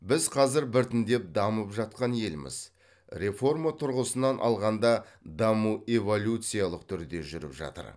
біз қазір біртіндеп дамып жатқан елміз реформа тұрғысынан алғанда даму эволюциялық түрде жүріп жатыр